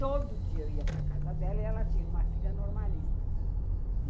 Todo dia eu ia para casa dela e ela tinha uma filha normalista.